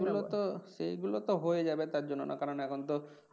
সেগুলো তো সেগুলো তো হয়ে যাবে তার জন্য না কারণ এখন তো